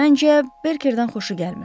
Məncə, Berkerdən xoşu gəlmir.